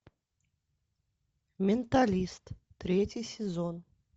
менталист третий сезон